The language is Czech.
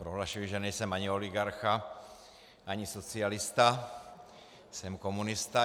Prohlašuji, že nejsem ani oligarcha, ani socialista, jsem komunista.